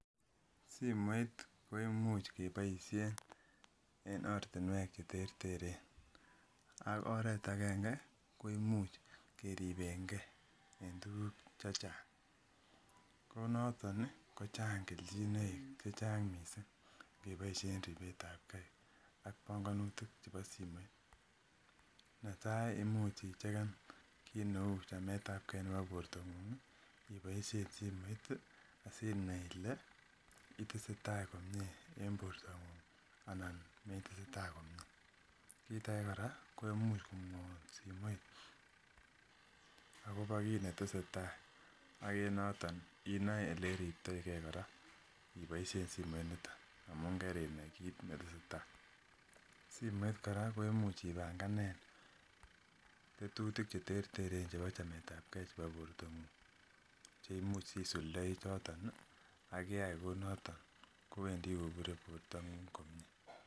Simoit ko imuch keboishe eng' ortinwek cheterteren ak oret agenge ko imuch keribengei en tuguk chechang' ko noton ko chang' keljinoik chechang' mising' keboishen ribetab gei ak bongonutik chebo simoit netai imuch icheken kit neu chametab gei nebo bortong'uk iboishen simoit asinai ile itese tai komye eng' bortong'uk anan metese tai komyee kit age kora ko imuch komwoun simoit akobo kiit netesei tai ak en noton inoe ole iriptoingen kora iboishen simoitnito amun kerinai kiit netesei tai simoit kora ko imuch ibanganen tetutik cheterteren chebo chametab gei chebo bortong'uk cheimuch isuldoi choton akiayai kou noton kowendi koburei bortong'uk komye